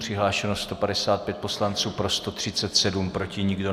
Přihlášeno 155 poslanců, pro 137, proti nikdo.